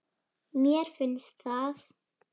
Mér finnst það.